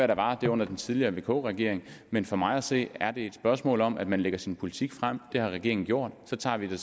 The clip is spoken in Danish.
der var det under den tidligere regering vk regeringen men for mig at se er det et spørgsmål om at man lægger sin politik frem det har regeringen gjort så tager vi